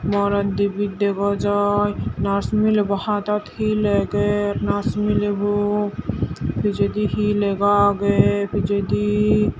morot dibey dega jai nurse milebo hataat hi leger nurse milebo pijedi hi lega agey pijedi.